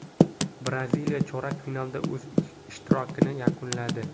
Braziliya chorak finalda o‘z ishtirokini yakunladi.